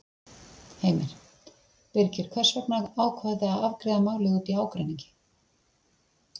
Heimir: Birgir, hvers vegna ákváðuð þið að afgreiða málið út í ágreiningi?